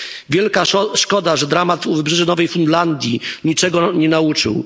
Wielka szkoda, że dramat u wybrzeży Nowej Fundlandii niczego nie nauczył.